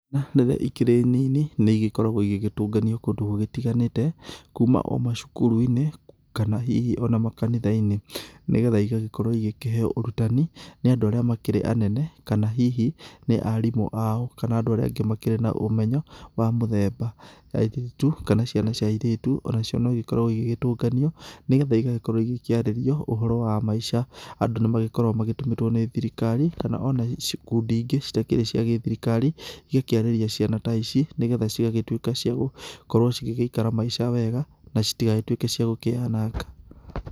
Ciana riria ĩkĩrĩ nini nĩigĩkoragwo igĩgĩtũnganio kũndũ gũgĩtiganĩte kuma o macukuru-inĩ, kana hihi ona makanitha-inĩ, ni getha ĩgagĩkorwo igĩkĩheo ũrutani nĩ andũ arĩa makĩrĩ anene kana hihi nĩ arimu ao, kana andũ arĩa makĩrĩ na ũmenyo wa mũthemba. Airĩtu, kana ciana cia airĩtu onacio no ĩgĩkoragwo igĩgĩtũnganio nĩ getha ĩgagĩkorwo igĩkĩarĩrio ũhoro wa maica. Andũ nĩmagĩkoragwo matũmĩtwo ni thirikari, kana ona ikundi ingĩ citakĩrĩ cia gĩthirikari igakĩarĩria ciana ta ici nĩ getha cigagĩtwĩka cia gũkorwo cigĩgĩikara maica wega, na citigagĩtũĩke cia gũkĩyananga.